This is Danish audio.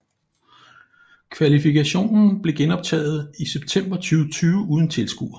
Kvalifikationen blev genoptaget i september 2020 uden tilskuere